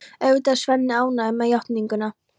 Auðvitað er Svenni ánægður með játninguna.